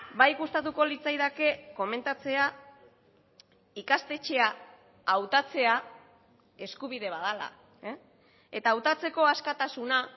bai gustatuko litzaidake komentatzea ikastetxea hautatzea eskubide bat dela eta hautatzeko askatasuna